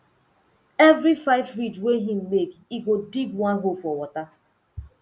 every five ridge wey him make e go dig one hole for water